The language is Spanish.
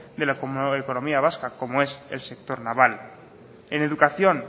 de la economía vasca como es el sector naval en educación